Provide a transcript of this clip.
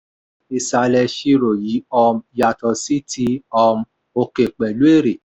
ìsàlẹ̀ ìṣirò yìí um yàtọ̀ sí ti um òkè pẹ̀lú èrè.